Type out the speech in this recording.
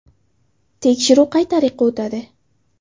– Tekshiruv qay tariqa o‘tadi?